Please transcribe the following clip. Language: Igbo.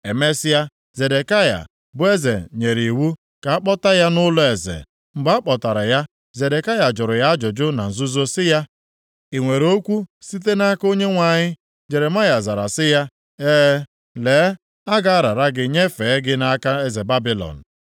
Emesịa, Zedekaya bụ eze nyere iwu ka a kpọta ya nʼụlọeze. Mgbe a kpọtara ya, Zedekaya jụrụ ya ajụjụ na nzuzo sị ya, “I nwere okwu site nʼaka Onyenwe anyị?” Jeremaya zara sị ya, “E, lee, a ga-arara gị nyefee gị nʼaka eze Babilọn.”